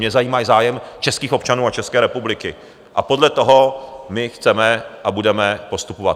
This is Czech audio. Mě zajímá zájem českých občanů a České republiky a podle toho my chceme a budeme postupovat.